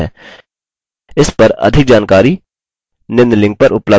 इस पर अधिक जानकारी निम्न लिंक पर उपलब्ध है